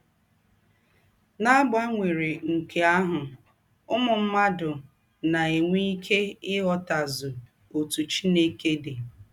N’àgbanwérè nke àhụ̀, ǔmū mmádụ à nà - enwé íké ị̀ghòtàzù òtú Chìnèkè dị.